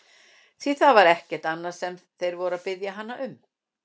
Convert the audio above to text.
Því það var ekkert annað sem þeir voru að biðja hann um!